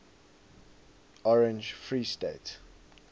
orange free state